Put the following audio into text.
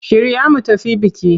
Shirya mu tafi biki!